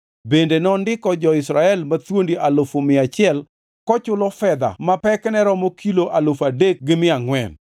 Bende nondiko jo-Israel mathuondi alufu mia achiel kochulo fedha ma pekne romo kilo alufu adek gi mia angʼwen.